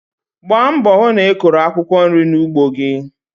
Gbaa mbọ hụ na ị kụrụ akwụkwọ nri n'ugbo gi.